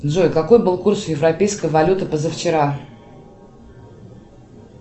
джой какой был курс европейской валюты позавчера